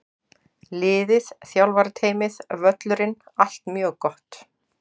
Liðið, þjálfarateymið, völlurinn- allt mjög gott!